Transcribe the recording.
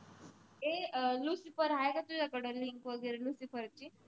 ए अह lucifer हाय का तुझ्या कड? link वगैरे lucifer ची?